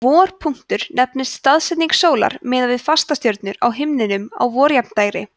vorpunktur nefnist staðsetning sólar miðað við fastastjörnur á himninum á vorjafndægri